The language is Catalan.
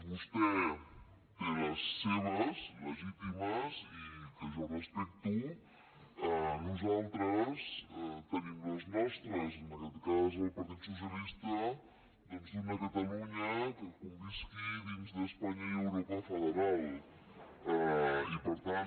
vostè té les seves legítimes i que jo respecto nosaltres tenim les nostres en aquest cas el partit socialista doncs d’una catalunya que convisqui dins d’espanya i l’europa federal i per tant